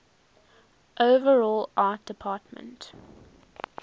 overall art department